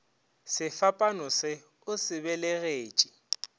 sefapano se o se belegetše